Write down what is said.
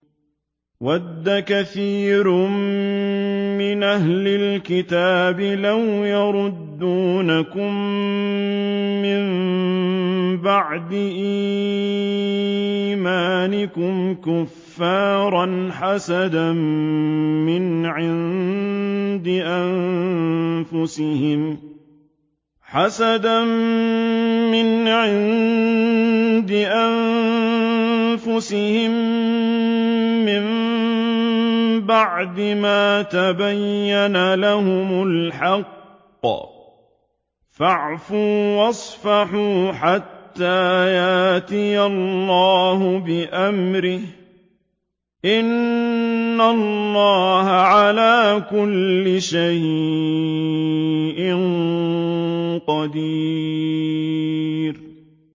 وَدَّ كَثِيرٌ مِّنْ أَهْلِ الْكِتَابِ لَوْ يَرُدُّونَكُم مِّن بَعْدِ إِيمَانِكُمْ كُفَّارًا حَسَدًا مِّنْ عِندِ أَنفُسِهِم مِّن بَعْدِ مَا تَبَيَّنَ لَهُمُ الْحَقُّ ۖ فَاعْفُوا وَاصْفَحُوا حَتَّىٰ يَأْتِيَ اللَّهُ بِأَمْرِهِ ۗ إِنَّ اللَّهَ عَلَىٰ كُلِّ شَيْءٍ قَدِيرٌ